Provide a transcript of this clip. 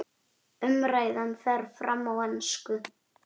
Umræðan fer fram á ensku.